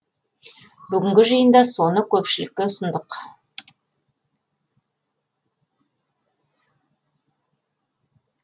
бүгінгі жиында соны көпшілікке ұсындық